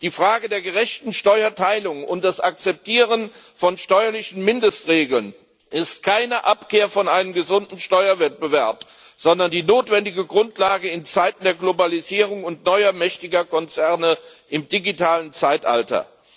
Die Frage der gerechten Steuerteilung und das Akzeptieren von steuerlichen Mindestregeln ist keine Abkehr von einem gesunden Steuerwettbewerb, sondern die notwendige Grundlage in Zeiten der Globalisierung und neuer mächtiger Konzerne im digitalen Zeitalter.